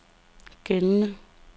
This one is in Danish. gældende